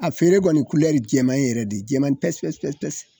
A feere kɔni ye jɛman yɛrɛ de ye jɛman pasi pasi